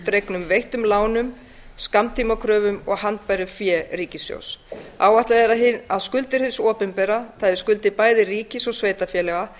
frádregnum veittum lánum skammtímakröfum og handbæru fé ríkissjóðs áætlað er að skuldir hins opinbera það er skuldir bæði ríkis og sveitarfélaga